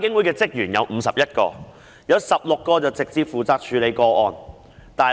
監警會有51名職員，當中16人直接負責處理個案。